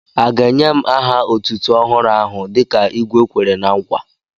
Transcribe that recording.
À ga ènyè m aha otútú ọhụrụ áhù dịka igwé Kwèrè ná nkwa?